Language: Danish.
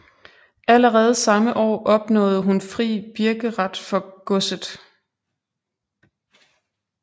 Allerede samme år opnåede hun fri birkeret for godset